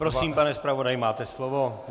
Prosím, pane zpravodaji, máte slovo.